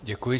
Děkuji.